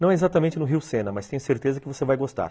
Não exatamente no Rio Sena, mas tenho certeza que você vai gostar.